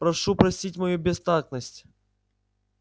прошу простить мою бестактность